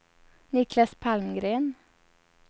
Niklas Palmgren